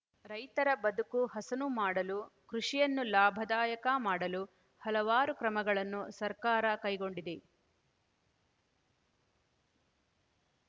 ರೈತರ ಬದುಕು ಹಸನು ಮಾಡಲು ಕೃಷಿಯನ್ನು ಲಾಭದಾಯಕ ಮಾಡಲು ಹಲವಾರು ಕ್ರಮಗಳನ್ನು ಸರ್ಕಾರ ಕೈಗೊಂಡಿದೆ